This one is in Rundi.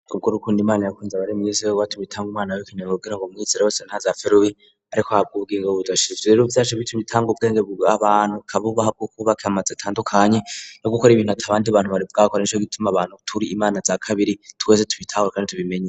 Kubwo urukunda imana yakunze abari mw'isi nirwo rwatumye itanga umwana wayo w'ikinege kugirango uwu mwizera wese ntazopfe rubi ariko ahabwe ubugingo budashira ivyo rero vyatumye itanga ubwenge abantu ika bubaha bwo kubaka amazu atandukanye no gukora ibintu atabandi bantu bari bwakore nico gituma abantu turi Imana za kabiri twese tubitahure kandi tubimenye.